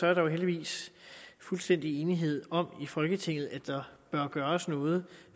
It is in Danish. er der jo heldigvis fuldstændig enighed i folketinget om at der bør gøres noget